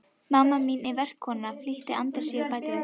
Mamma mín er verkakona, flýtti Andri sér að bæta við.